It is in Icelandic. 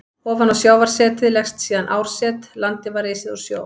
Ofan á sjávarsetið lagðist síðan árset, landið var risið úr sjó.